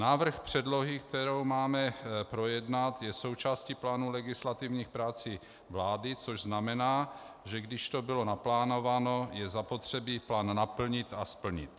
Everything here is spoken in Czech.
Návrh předlohy, kterou máme projednat, je součástí plánu legislativních prací vlády, což znamená, že když to bylo naplánováno, je zapotřebí plán naplnit a splnit.